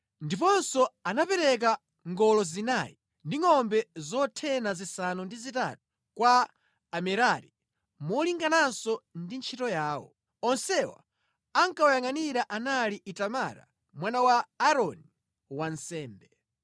ndiponso anapereka ngolo zinayi ndi ngʼombe zothena zisanu ndi zitatu kwa Amerari molingananso ndi ntchito yawo. Onsewa ankawayangʼanira anali Itamara mwana wa Aaroni wansembe.